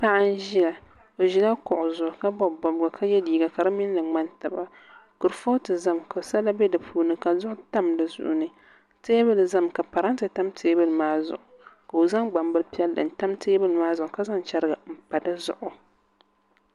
Paɣa n ʒiya o ʒila kuɣu zuɣu ka bob bobga ka yɛ liiga ka di minli ŋmani taba kurifooti ʒɛmi ka sala bɛ di puuni ka duɣu tam di sunsuuni teebuli ʒɛmi ka parantɛ tam teebuli maa zuɣu ka o zaŋ gbambili piɛlli n tam teebuli maa zuɣu ka zaŋ chɛriga n pa dizuɣu